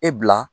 E bila